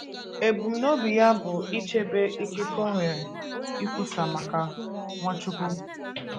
Ebumnobi ya bụ ịchebe ikike o nwere ikwusa maka Nwachukwu.